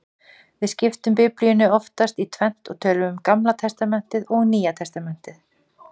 Við skiptum Biblíunni oftast í tvennt og tölum um Gamla testamentið og Nýja testamentið.